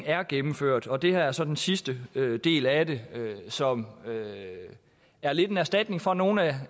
er gennemført og det her er så den sidste del af det som er lidt af en erstatning for nogle af